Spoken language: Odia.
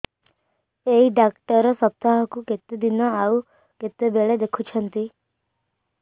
ଏଇ ଡ଼ାକ୍ତର ସପ୍ତାହକୁ କେତେଦିନ ଆଉ କେତେବେଳେ ଦେଖୁଛନ୍ତି